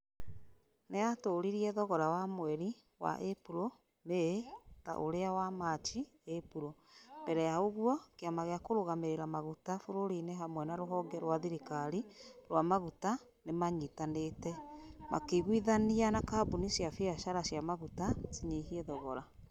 Nĩ yatũũririe thogora wa mweri wa Ĩpuro-Mĩĩ ta uria wa Machi-Ĩpuro. Mbere ya uguo kĩama gia kũrugamĩrĩra maguta bũrũri-inĩ hamwe na rũhonge rwa thirikari rwa maguta nimanyitanĩte. Makĩiguithania na kambuni cia biacara cia maguta cinyihie thogora.